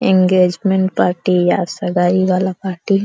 engagement party सगाई वाला party --